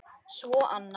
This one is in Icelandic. Svo annað.